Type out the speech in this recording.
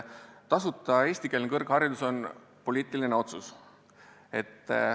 Tasuta eestikeelne kõrgharidus on poliitiline otsus.